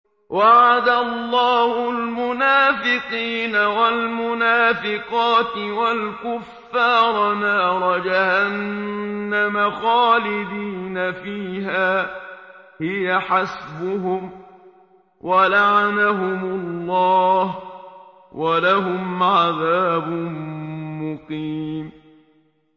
وَعَدَ اللَّهُ الْمُنَافِقِينَ وَالْمُنَافِقَاتِ وَالْكُفَّارَ نَارَ جَهَنَّمَ خَالِدِينَ فِيهَا ۚ هِيَ حَسْبُهُمْ ۚ وَلَعَنَهُمُ اللَّهُ ۖ وَلَهُمْ عَذَابٌ مُّقِيمٌ